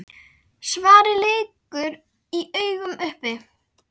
Svarið liggur í augum uppi.